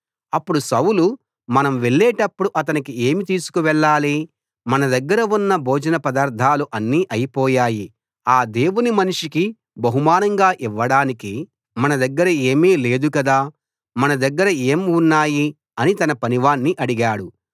అప్పుడు సౌలు మనం వెళ్లేటప్పుడు అతనికి ఏమి తీసుకు వెళ్ళాలి మన దగ్గర ఉన్న భోజన పదార్దాలు అన్నీ అయిపోయాయి ఆ దేవుని మనిషికి బహుమానంగా ఇవ్వడానికి మన దగ్గర ఏమీ లేదు కదా మన దగ్గర ఏం ఉన్నాయి అని తన పనివాణ్ణి అడిగాడు